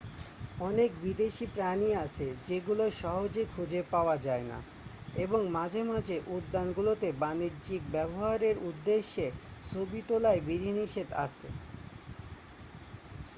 অনেক বিদেশী প্রাণী আছে যেগুলো সহজে খুজে পাওয়া যায়না এবং মাঝে মাঝে উদ্যানগুলোতে বাণিজ্যিক ব্যবহারের উদ্দেশে ছবি তোলায় বিধিনিষেধ আছে